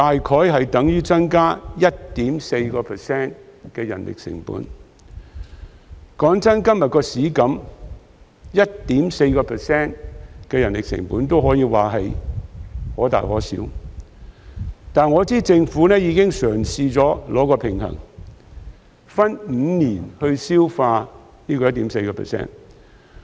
老實說，對於現時的市場情況，增加 1.4% 的人力成本可以說是可大可小的，但我知道政府已嘗試取得平衡，分5年消化這 1.4%。